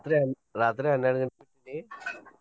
ರಾತ್ರಿ ಹನ್ನೆಡ್ ಗಂಟೆಕ್.